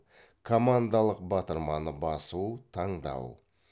командалық батырманы басу таңдау